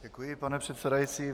Děkuji, pane předsedající.